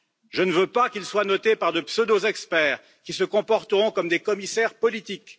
Je ne veux pas qu'il soit noté par de pseudo experts qui se comporteront comme des commissaires politiques.